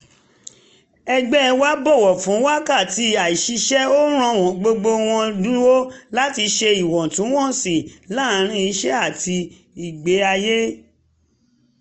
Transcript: ẹgbẹ́ wa bọ̀wọ̀ fún wákàtí àìṣiṣẹ́ ó ràn gbogbo wọn lụ́wọ́ láti ṣe ìwọ̀ntúnwọ̀nsì láàárín iṣẹ́ àti ìgbé-ayé